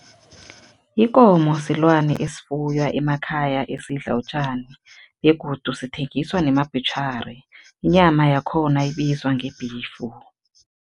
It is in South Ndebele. Ikomo silwane esifuywa emakhaya esidla utjani begodu sithengiswa nemabhutjhari. Inyama yakhona ibizwa ngebhifu.